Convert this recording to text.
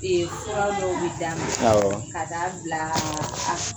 Ee fura dɔw bi d'a ma ka taa bila